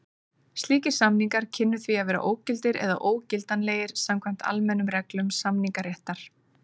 Slíkir samningar kynnu því að vera ógildir eða ógildanlegir samkvæmt almennum reglum samningaréttar.